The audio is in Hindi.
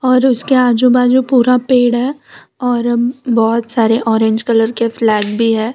और उसके आजू बाजू पूरा पेड़ है और अम बहोत सारे ऑरेंज कलर के फ्लैग भीं हैं।